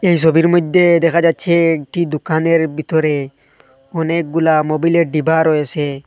এ সবির মইদ্যে দেখা যাচ্ছে একটি দুকানের ভিতরে অনেকগুলা মোবিলের ডিবা রয়েসে।